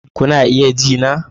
Kuna iya ji na?